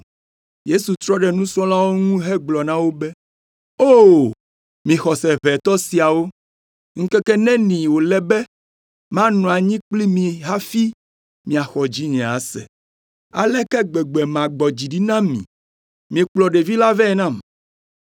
Yesu trɔ ɖe nusrɔ̃lawo ŋu hegblɔ na wo be, “O! Mi xɔse ʋɛtɔ siawo, ŋkeke neni wòle be manɔ anyi kpli mi hafi miaxɔ dzinye ase? Aleke gbegbe magbɔ dzi ɖi na mi? Mikplɔ ɖevi la vɛ nam.”